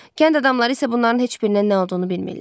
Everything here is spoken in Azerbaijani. Kənd adamları isə bunların heç birinin nə olduğunu bilmirlər.